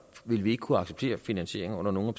vil vi ikke kunne acceptere finansieringen under nogen